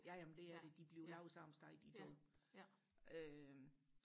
ja ja men det er det de bliver lavet samme sted de to øh